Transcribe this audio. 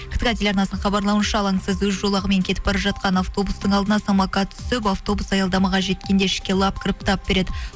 ктк телеарнасының хабарлауынша алаңсыз өз жолағымен кетіп бара жатқан автобустың алдына самокат түсіп автобус аялдамаға жеткенде ішке лап кіріп тап береді